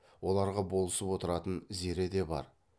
оларға болысып отыратын зере де бар